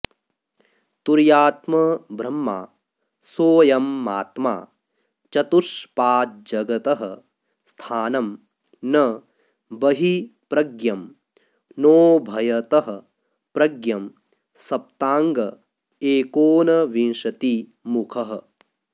तुर्यात्मब्रह्मा सोऽयमात्मा चतुष्पाज्जगतः स्थानं न बहिःप्रज्ञं नोभयतःप्रज्ञं सप्ताङ्ग एकोनविंशतिमुखः